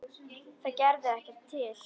Það gerði ekki til.